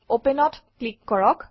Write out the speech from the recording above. Open অত click কৰক